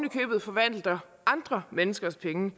i købet forvalter andre menneskers penge